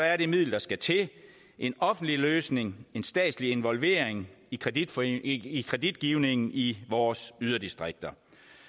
er det middel der skal til en offentlig løsning en statslig involvering i kreditgivningen i kreditgivningen i vores yderdistrikter